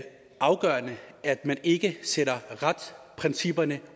afgørende at man ikke sætter retsprincipperne